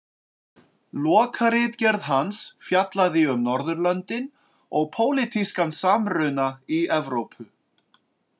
Lokaritgerð hans fjallaði um Norðurlöndin og pólitískan samruna í Evrópu.